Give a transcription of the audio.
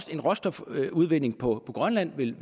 en råstofudvinding på grønland vil